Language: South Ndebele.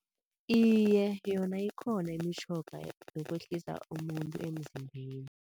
Iye, yona ikhona imtjhoga yokwehlisa umuntu emzimbeni.